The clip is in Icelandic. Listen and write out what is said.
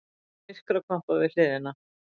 Það er myrkrakompa við hliðina.